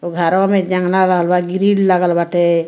घरवा में जंगला व ग्रिल लगल बाटे।